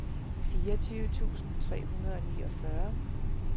fireogtyve tusind tre hundrede og niogfyrre